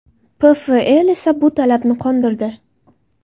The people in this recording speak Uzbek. PFL esa bu talabni qondirdi.